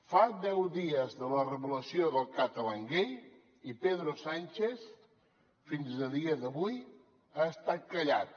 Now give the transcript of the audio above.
fa deu dies de la revelació del catalangate i pedro sánchez fins a dia d’avui ha estat callat